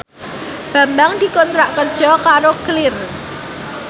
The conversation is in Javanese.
Bambang dikontrak kerja karo Clear